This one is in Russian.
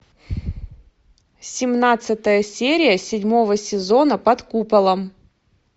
семнадцатая серия седьмого сезона под куполом